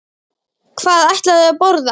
Hvað ætla þau að borða?